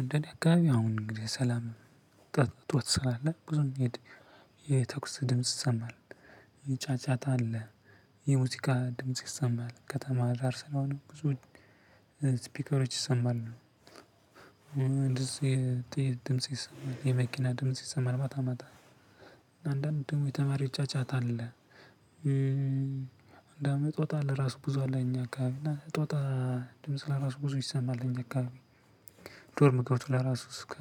እንደ እኔ አካባቢ አሁን እንግዲህ ሰላም እጦት ስላለ ብዙም የተኩስ ድምጽ ሰማል የጫጫታ አለ የሙዚቃ ድምጽ ይሰማል ከተማ ዳር ስለሆነ ብዙ ስፒከሮች ይሰማሉ። የጥይት ድምጽ ይሰማል የመኪና ድምጽ ይሰማል ማታ ማታ አንዳንዴ የተማሪ ጫጫታ አለ። እንደውም ጦጣ አለ ብዙ አለ እኛ አካባቢ እና ጦጣ ድምጽ ለራሱ ብዙ ይሰማል። እኛ አካባቢ ዶርም ገብቶ ለራሱ እስከ